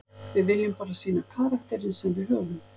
Við viljum bara sýna karakterinn sem við höfum.